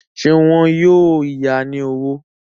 Ṣé wọn yóò ya ní owó?